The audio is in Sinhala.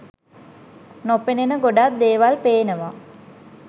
නොපෙනෙන ගොඩක් දේවල් පේනවා